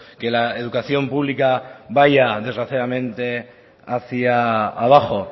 que la educación pública vaya desgraciadamente hacía abajo